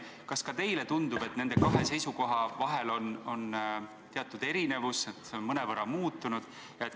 Kas ka teile tundub, et nende kahe seisukoha vahel on teatud erinevus, et see on mõnevõrra muutunud?